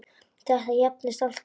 Þetta jafnist allt út.